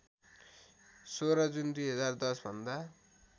१६ June २०१० भन्दा